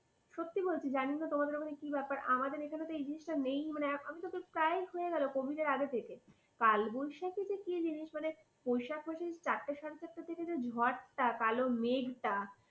সত্যি বলছি, জানিনা তোমাদের ওখানে কি ব্যাপার? আমাদের এখানেএই জিনিসটা নেই। আমাদের তো প্রায়ই হয়ে গেল covid এর আগে থেকে কালবৈশাখী যে কি জিনিস? মানে বৈশাখ মাসে চারটে সাড়ে চারটে থেকে যে ঝড়টা, যে কালো মেঘটা,